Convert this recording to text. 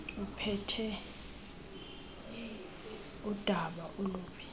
uphethe udaba olubi